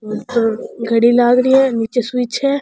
घडी लाग रही है निचे स्वीच है।